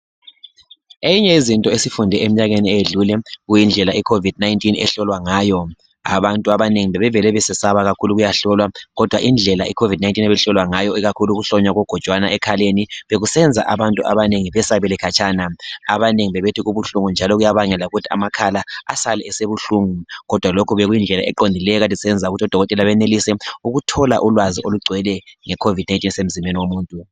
Enye yezinto esiyifunde eminyakeni eyedlule, bekuyindlela iCovid 19 ehlolwa ngayo. Abantu abanengi bebevele besesaba kakhulu, ukuyahlolwa. Kodwa indlela iCovid 19 ebihlolwa ngayo, ikakhulu ukuhlonywa kogojwana ekhaleni, bekusenza abantu abanengi, besabele khatshana. Abanengi bebethi kubuhlungu, njalo kuyabangela ukuthi amakhala, asale esebuhlungu. Kodwa lokho bekuyindlela eqondileyo, ekade isenza ukuthi odokoteka beneluse ukuthola ulwazi olugcweleyo ngeCovid 19, ebisemzimbeni womuntu.